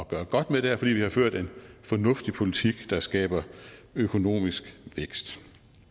gøre godt med det er fordi vi har ført en fornuftig politik der skaber økonomisk vækst